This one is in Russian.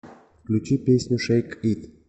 включи песню шэйк ит